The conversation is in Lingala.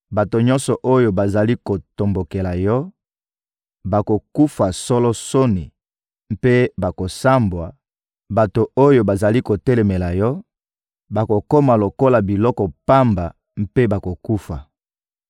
Bato nyonso oyo bazali kotombokela yo bakokufa solo soni mpe bakosambwa; bato oyo bazali kotelemela yo bakokoma lokola biloko pamba mpe bakokufa.